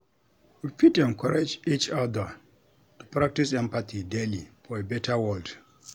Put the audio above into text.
We fit encourage each other to practice empathy daily for a beta world.